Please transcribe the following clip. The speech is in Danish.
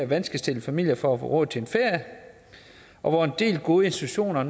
vanskeligt stillede familier få råd til en ferie og en del gode institutioner